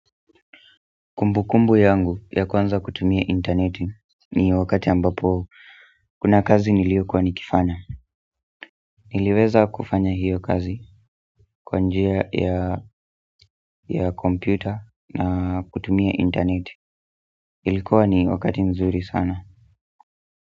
Kumbu kumbu yangu ya kwanza kutumia internet ni wakati ambapo kuna kazi nilio kuwa nikifanya niliweza kufanya hiyo kazi kwanjia ya kompyuta na kutumia internet ilikua ni wakati mzuri sana.